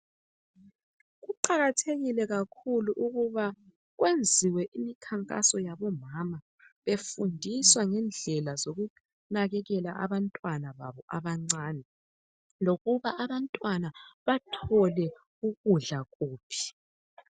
Kuqakathekile kakhulu ukuba kwenziwe imkhankaso yabo mama befundiswa ngendlela zokunakekela abantwana babo abancane lokuba abantwana bathole ukudla kuphi